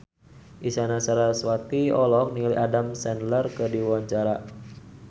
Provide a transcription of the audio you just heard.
Isyana Sarasvati olohok ningali Adam Sandler keur diwawancara